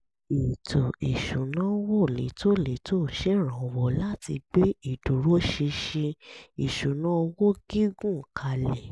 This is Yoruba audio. ètò ìsúnáwó létòlétò ń ṣèrànwọ́ láti gbé ìdúróṣinṣin ìṣúnná owó gígùn kalẹ̀